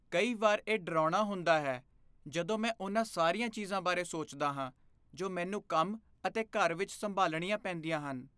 ਕਈ ਵਾਰ ਇਹ ਡਰਾਉਣਾ ਹੁੰਦਾ ਹੈ ਜਦੋਂ ਮੈਂ ਉਹਨਾਂ ਸਾਰੀਆਂ ਚੀਜ਼ਾਂ ਬਾਰੇ ਸੋਚਦਾ ਹਾਂ ਜੋ ਮੈਨੂੰ ਕੰਮ ਅਤੇ ਘਰ ਵਿੱਚ ਸੰਭਾਲਣੀਆਂ ਪੈਂਦੀਆਂ ਹਨ।